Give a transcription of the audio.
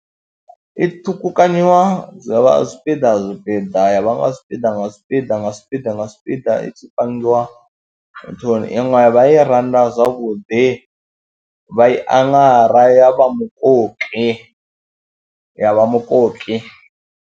I ṱhukhukanyiwa zwa vha zwipiḓa zwipiḓa ya vha nga zwipiḓa nga zwipiḓa nga zwipiḓa nga zwipiḓa i tshi pangiwa nthuni iṅwe vha i randa zwavhuḓi, vha i aṅara ya vha mukoki, ya vha mukoki.